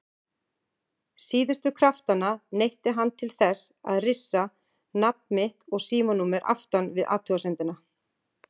Síðustu kraftanna neytti hann til þess að rissa nafn mitt og símanúmer aftan við athugasemdina.